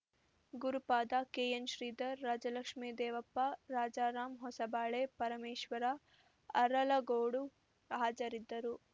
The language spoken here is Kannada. ಗುರುಪಾದ ಕೆಎನ್‌ಶ್ರೀಧರ್‌ ರಾಜಲಕ್ಷ್ಮೇ ದೇವಪ್ಪ ರಾಜಾರಾಮ್‌ ಹೊಸಬಾಳೆ ಪರಮೇಶ್ವರ ಅರಲಗೋಡು ಹಾಜರಿದ್ದರು